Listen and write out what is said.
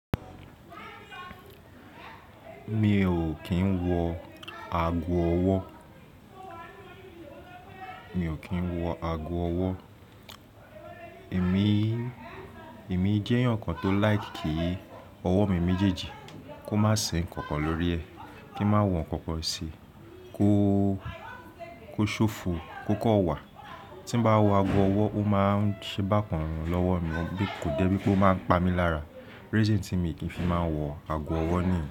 Mi ò kí ń wọ ago ọwọ́, mi ò kí ń wọ ago ọwọ́. Èmi, èmi jẹ́ ǹkan tó like kí ọwọ́ mi méjèèjì kó má sì ń kankan lórí ẹ̀, kí n má wọ̀n kankan sí i, kó, kó ṣófo, kó kọ́ wà. Tí bá wọ ago ọwọ́, ó má ń ṣe bákan lọ́wọ́ mi, bí kò dẹ́ pé ó má ń pa mí lára. Reason tí mo kì í fi máa ń wọ ago ọwọ́ ni.